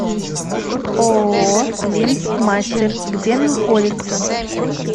ооо линзмастер где находится